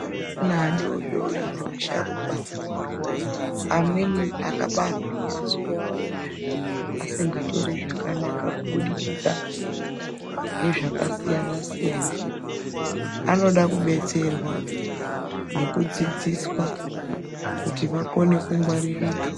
Ana adodori nevasharukwa amweni akabarwa masoro awo asinga Tori zvakanaka kubudikidza ngezvakasiyana siyana anoda kudetserwa nekudzidziswa kuti akone kungwaririka.